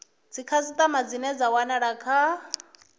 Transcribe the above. dzikhasitama ane a wanala kha